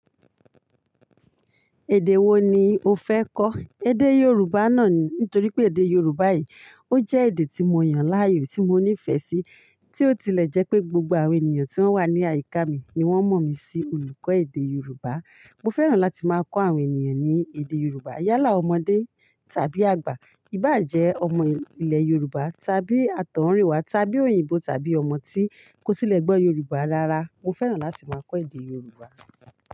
Èdè wo ni o fẹ́ kọ́? Èdè Yorùbá náà ni. Nítorí pé èdè Yorùbá yìí, ó jẹ́ èdè tí mo yàn láàyò, tí mo nífẹ̀ẹ́ sí, tí ó tilẹ̀ jẹ́ pé gbogbo àwọn ènìyàn tí wọ́n wà ní àyíká mi ni wọ́n mọ̀ mí sí olùkọ́ èdè Yorùbá. Mo fẹ́ràn láti máa kọ́ àwọn ènìyàn ní èdè Yorùbá. Yálà ọmọdé tàbí àgbà, ìbàjẹ́ ọmọ ilẹ̀ Yorùbá tàbí àtọ̀húnrìnwá tàbí òyìnbó tàbí ọmọ tí kò tílẹ̀ gbọ́ Yorùbá rárá, mo fẹ́ràn láti máa kọ́ èdè Yorùbá.